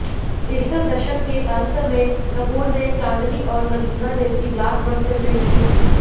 इस दशक के अंत में कपूर ने चांदनी और नगीना जैसी ब्लॉकबस्टर हिट्स भी दीं